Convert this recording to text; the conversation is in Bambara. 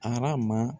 Arama